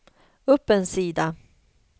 upp en sida